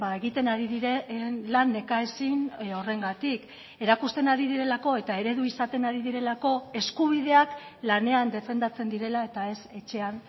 egiten ari diren lan nekaezin horrengatik erakusten ari direlako eta eredu izaten ari direlako eskubideak lanean defendatzen direla eta ez etxean